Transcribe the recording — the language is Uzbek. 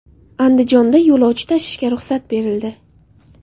Andijonda yo‘lovchi tashishga ruxsat berildi.